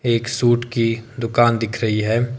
एक सूट की दुकान दिख रही है।